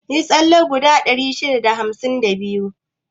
Yi tsalle kwado 652.